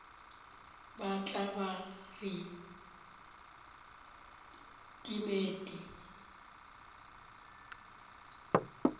ba tla ba re timet